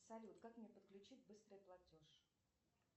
салют как мне подключить быстрый платеж